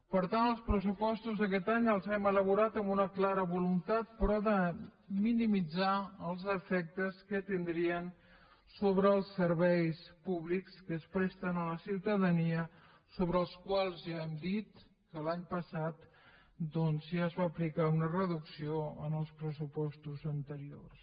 per tant els pressupostos d’aquest any els hem elaborat amb una clara voluntat però de minimitzar els efectes que tindrien sobre els serveis públics que es presten a la ciutadania sobre els quals ja hem dit que l’any passat doncs ja es va aplicar una reducció en els pressupostos anteriors